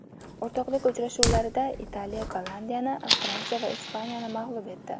O‘rtoqlik uchrashuvlarida Italiya Gollandiyani, Fransiya esa Ispaniyani mag‘lub etdi.